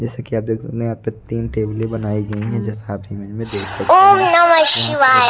जैसा कि आप देख सकते यहां पे तीन टेबलें बनाई गई हैं जैसा आप इमेज में देख सकते हैं यहां पे --